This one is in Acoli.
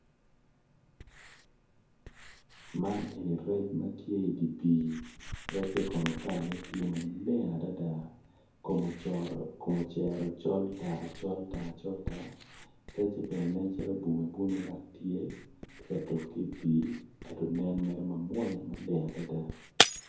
Man kono rec ma tye i dye pii recce komo tye ma leng kome ocero col tar col tar recce bene bwome tye dok tye ka tuk ki i pii dok nen mamwonya adada